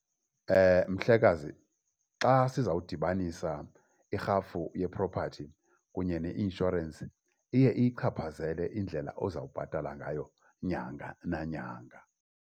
Mhlekazi, xa sizawudibanisa irhafu ye-property kunye neinshorensi iye iyichaphazele indlela ozawubhatala ngayo inyanga nanyanga.